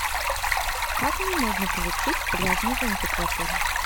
как мне можно получить пляжный зонтик в отеле